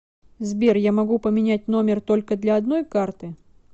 сбер я могу поменять номер только для одной карты